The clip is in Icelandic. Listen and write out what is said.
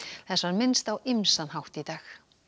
þess var minnst á ýmsan hátt í dag